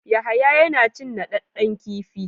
Yahaya yana cin naɗɗaden kifi.